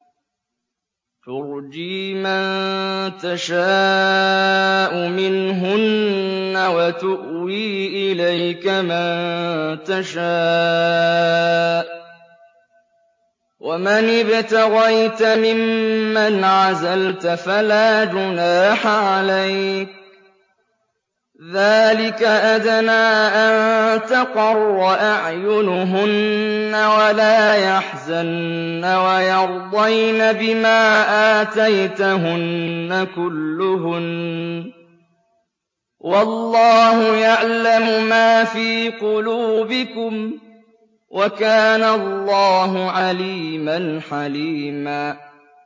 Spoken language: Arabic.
۞ تُرْجِي مَن تَشَاءُ مِنْهُنَّ وَتُؤْوِي إِلَيْكَ مَن تَشَاءُ ۖ وَمَنِ ابْتَغَيْتَ مِمَّنْ عَزَلْتَ فَلَا جُنَاحَ عَلَيْكَ ۚ ذَٰلِكَ أَدْنَىٰ أَن تَقَرَّ أَعْيُنُهُنَّ وَلَا يَحْزَنَّ وَيَرْضَيْنَ بِمَا آتَيْتَهُنَّ كُلُّهُنَّ ۚ وَاللَّهُ يَعْلَمُ مَا فِي قُلُوبِكُمْ ۚ وَكَانَ اللَّهُ عَلِيمًا حَلِيمًا